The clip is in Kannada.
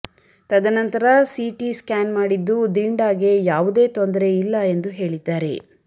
ತದನಂತರ ಸಿಟಿ ಸ್ಕ್ಯಾನ್ ಮಾಡಿದ್ದು ದಿಂಡಾಗೆ ಯಾವುದೇ ತೊಂದರೆ ಇಲ್ಲ ಎಂದು ಹೇಳಿದ್ದಾರೆ